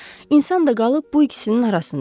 İnsan da qalıb bu ikisinin arasında.